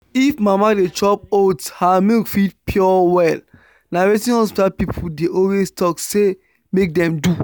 if mama dey chop oats her milk fit pure well. na wetin hospital people dey always talk say make dem do.